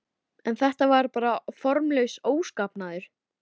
En þetta var bara formlaus óskapnaður.